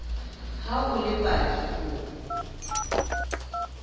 ha o le paki o